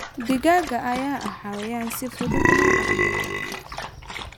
Digaagga ayaa ah xayawaan si fudud loo dhaqdo.